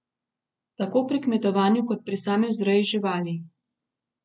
Tako pri kmetovanju kot pri sami vzreji živali.